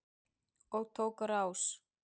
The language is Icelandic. Og tók á rás.